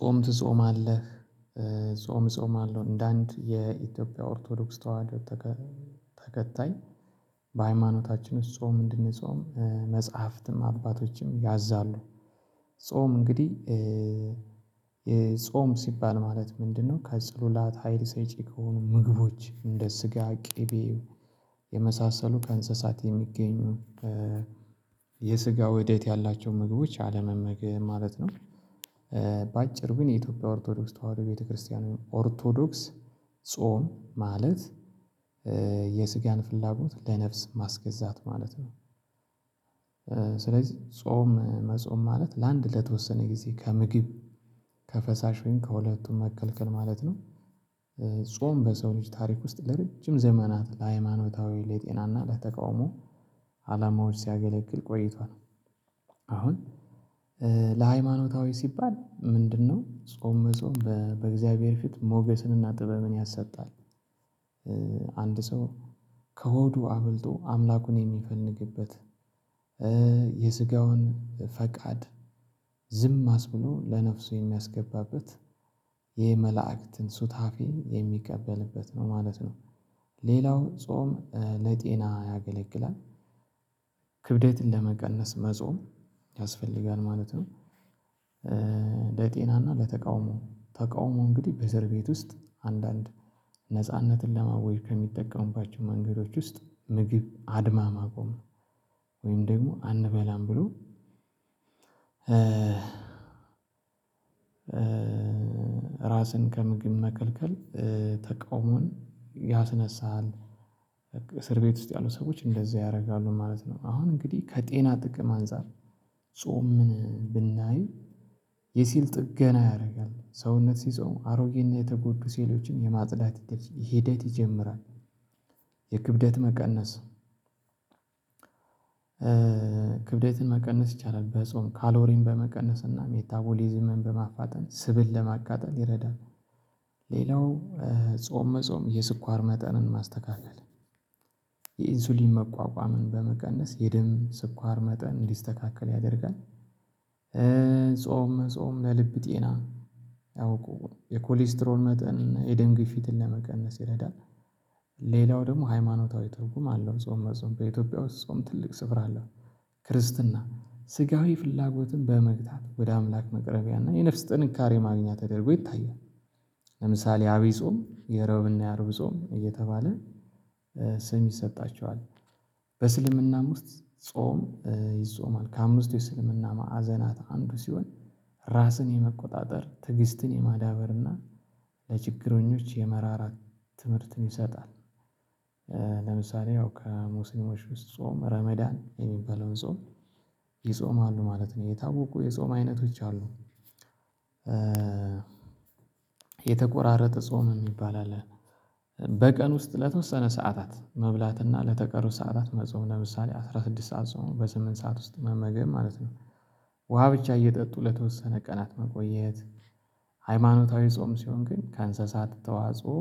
ጾም ትጾማለህ? ጾም እጾማለው እንደ አንድ የኢትዮጵያ ኦርቶዶክስ ተዋህዶ ተከታይ በሃይማኖታችን ጾም እንድንጾም መጽሐፍትም አባቶችም ያዛሉ። ጾም እንግዲህ ጾም ሲባል ማለት ምንድነው ከጸሎላት ሀይል ሰጪ ከሆኑ ምግቦች እንደ ስጋ ቂቤ የመሳሰሉ ከእንስሳት የሚገኙ የስጋ ወዴት ያላቸው ምግቦች አለመመገብ ማለት ነው። በአጭሩ ግን የኢትዮጵያ ኦርቶዶክስ ተዋህዶ ቤተክርስቲያኑን ኦርቶዶክስ ጾም ማለት የስጋን ፍላጎት ለነፍስ ማስገዛት ማለት ነው። ስለዚ ጾም መጾም ማለት ለአንድ ለተወሰነ ጊዜ ከምግብ ከፈሳሽ ወይም ከሁለቱም መከልከል ማለት ነው። ጾም በሰው ልጅ ታሪክ ውስጥ ለረጅም ዘመናት ለሃይማኖታዊ ለጤናና ለተቃውሞ አላማዎች ሲያገለግል ቆይቷል። አሁን ለሃይማኖታዊ ሲባል ምንድነው ጾም መጾም በእግዚአብሔር ፊት ሞገስንና ጥበብን ያሰጣል። አንድ ሰው ከሆዱ አብልጦ አምላኩን የሚፈልግበት የስጋውን ፈቃድ ዝም አስብሎ ለነፍሱ የሚያስገባበት የመላእክትን ሱታፌ የሚቀበልበት ነው ማለት ነው። ሌላው ጾም ለጤና ያገለግላል ክብደትን ለመቀነስ መጾም ያስፈልጋል ማለት ነው። ለጤናና ለተቃውሞ ተቃውሞ እንግዲህ በዘር ቤት ውስጥ አንዳንድ ነጻነትን ለማወጅ ከሚጠቀሙባቸው መንገዶች ውስጥ ምግብ አድማ ማቆም ወይም ደግሞ አንበላም ብሎ ራስን ከምግብ መከልከል ተቃውሞን ያስነሳል። እስር ቤት ውስጥ ያሉ ሰዎች እንደዚህ ያረጋሉ ማለት ነው። አሁን እንግዲህ ከጤና ጥቅም አንፃር ጾምን ብናይ የሴል ጥገና ያረጋል ሰውነት ሲጾም አሮጌና የተጎዱ ሴሎችን የማጽዳት ሂደት ይጀምራል። የክብደት መቀነስ ክብደትን መቀነስ ይቻላል በጾም ካሎሪን በመቀነስና ሜታቦሊዝምን በማፋጠን ስብን ለማቃጠል ይረዳል። ሌላው ጾም መጾም የስኳር መጠንን ማስተካከል የኢንሱሊን መቋቋምን በመቀነስ የደም ስኳር መጠን እንዲስተካከል ያደርጋል። ጾም መጾም ለልብ ጤና አውቆ የኮሌስትሮን መጠን የደም ግፊትን ለመቀነስ ይረዳል። ሌላው ደግሞ ሃይማኖታዊ ትርጉም አለው ጾም መጾም በኢትዮጵያ ውስጥ ጾም ትልቅ ስፍራ አለው። ክርስትና ስጋዊ ፍላጎትን በመግታት ወደ አምላክ መቅረቢያ እና የነፍስ ጥንካሬ ማግኛ ተደርጎ ይታያል። ለምሳሌ አብይ ጾም የሮብና የአርብ ጾም እየተባለ ስም ይሰጣቸዋል። በእስልምናም ውስጥ ጾም ይጾማል ከአምስት የእስልምና ማዕዘናት አንዱ ሲሆን ራስን የመቆጣጠር ትግስትን የማዳበር እና ለችግረኞች የመራራ ትምህርትን ይሰጣል። ለምሳሌ ከሙስሊሞች ውስጥ ጾም ረመዳን የሚባለውን ጾም ይጾማሉ ማለት ነው የታወቁ የጾም አይነት ውጪ አሉ። የተቆራረጠ ጾም የሚባል አለ። በቀን ውስጥ ለተወሰነ ሰዓታት መብላት እና ለተቀሩት ሰዓታት መጾም ለምሳሌ አስራ ስድስት ሰዓት ጾሞ በስምንት ሰዓት ውስጥ መመገብ ማለት ነው። ውሃ ብቻ እየጠጡ ለተወሰነ ቀናት መቆየት። ሃይማኖታዊ ጾም ሲሆን ግን ከእንስሳት ተዋጽኦ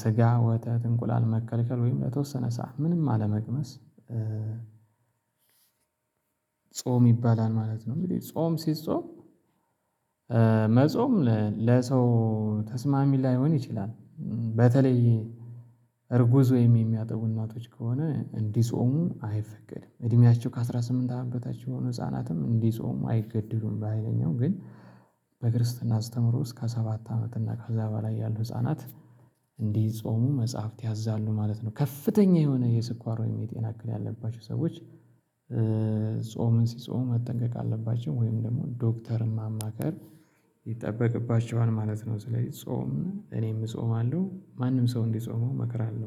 ስጋ ወተት እንቁላል መከልከል ወይም ለተወሰነ ሰዓት ምንም አለመቅመስ ጾም ይባላል ማለት ነው። እንግዲ ጾም ሲጾም መጾም ለሰው ተስማሚ ላይሆን ይችላል። በተለይ እርጉዝ ወይም የሚያጠቡ እናቶች ከሆነ እንዲጾሙ አይፈቀድም እድሜያቸው ከአሥራ ስምንት አመት በታች የሆኑ ህፃናትም እንዲጾሙ አይገደዱም። በሃይለኛው ግን በክርስትና አስተምሮ እስከ ሰባት አመት እና ከዛ በላይ ያሉ ህፃናት እንዲጾሙ መጽሐፍት ያዛሉ ማለት ነው። ከፍተኛ የሆነ የስኳር ወይም የጤና እክል ያለባቸው ሰዎች ጾምን ሲጾም መጠንቀቅ አለባቸው ወይም ደግሞ ዶክተርም ማማካር ይጠበቅባቸዋል ማለት ነው። ስለዚህ ጾም እኔም እጾማለው ማንም ሰው እንዲጾመው እመክራለው